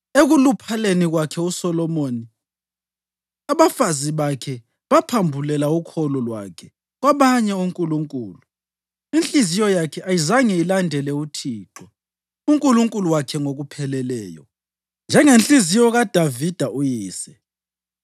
Ekuluphaleni kwakhe uSolomoni, abafazi bakhe baphambulela ukholo lwakhe kwabanye onkulunkulu, inhliziyo yakhe ayizange ilandele uThixo uNkulunkulu wakhe ngokupheleleyo, njengenhliziyo kaDavida uyise.